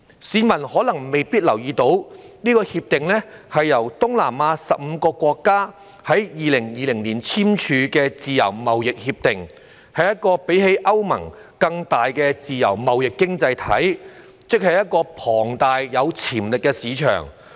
市民可能沒有留意，《協定》是東南亞15個國家在2020年簽署的自由貿易協定，是一個較歐盟更大的自由貿易經濟體系，即是一個龐大而有潛力的市場。